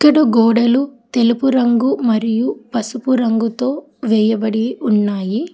చుట్టూ గోడలు తెలుపు రంగు మరియు పసుపు రంగుతో వేయబడి ఉన్నాయి